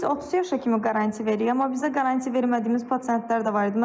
Biz 30 yaşa kimi qarant veriririk, amma bizə qarant vermədiyimiz pasientlər də var idi.